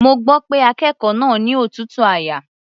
Mo gbọ́ pé akékòó náà ni òtútù àyà.